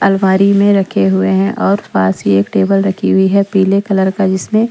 अलवारी में रखे हुए हैं और पास ही एक टेबल रखी हुई है पीले कलर का जिसमें--